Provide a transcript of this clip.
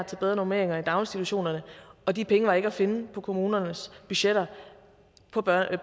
til bedre normeringer i daginstitutionerne og de penge var ikke at finde på kommunernes budgetter på